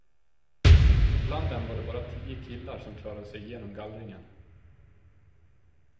Bland dem var det bara tio killar som klarade sig igenom gallringen.